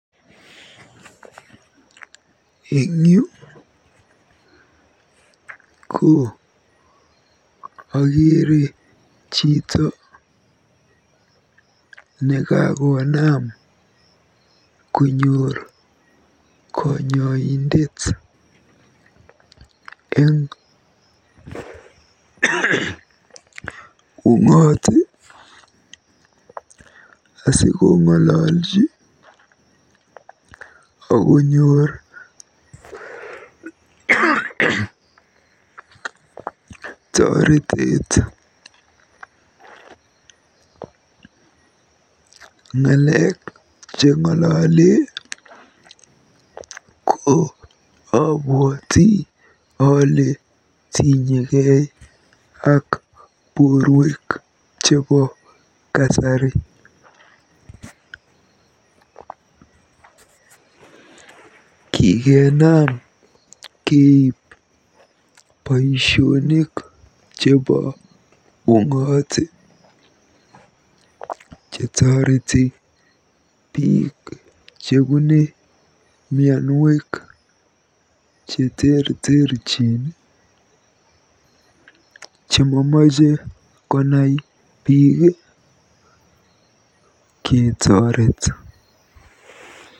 Eng yu ko akeere chito nekakonam konyor konyoindet eng ung'ot asikong'ololji akonyor toretet. Ng'alek cheng'ole obwoti kotinyekei ak borwek chebo kasari. Kikenam keib boisionik chebo ung'ot chetoreti biik chebune mianwek cheterterchin chemamache konai biik ketoret.